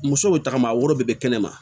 Musow bɛ tagama a woro de bɛ kɛnɛ ma